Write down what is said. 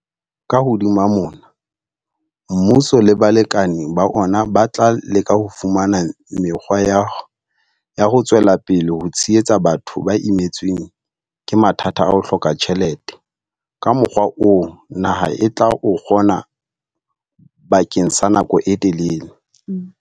Ka hodima mona, mmuso le balekane ba ona ba tla leka ho fumana mekgwa ya ho tswela pele ho tshehetsa batho ba imetsweng ke mathata a ho hloka tjhelete ka mokgwa oo naha e tla o kgona bakeng sa nako e telele.